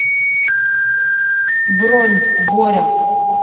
бронь боря